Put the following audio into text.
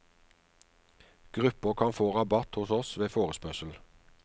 Grupper kan få rabatt hos oss ved forespørsel.